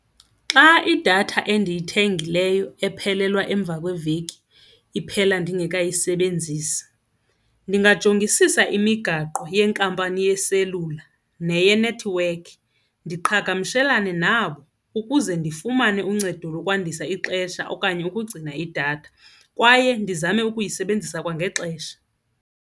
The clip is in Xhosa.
Xa idatha endiyithengileyo ephelelwa emva kweveki iphela ndingekayisebenzisi ndingajongisisa imigaqo yenkampani yeselula neyethiwekhi ndiqhagamshelane nabo ukuze ndifumane uncedo lokwandisa ixesha okanye ukugcina idatha kwaye ndizame ukuyisebenzisa kwangexesha.